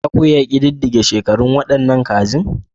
Za ku iya ƙididdige shekarun waɗannan gandun daji?